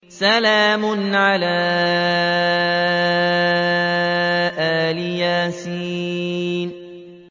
سَلَامٌ عَلَىٰ إِلْ يَاسِينَ